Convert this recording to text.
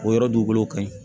O yɔrɔ dugukolo ka ɲi